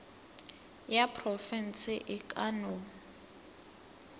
ya profense e ka no